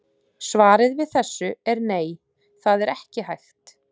Svarið við þessu er nei, það er ekki hægt.